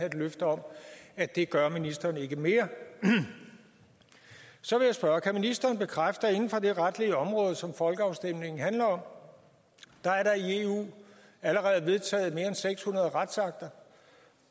et løfte om at det gør ministeren ikke mere så vil jeg spørge kan ministeren bekræfte at inden for det retlige område som folkeafstemningen handler om er der i eu allerede vedtaget mere end seks hundrede retsakter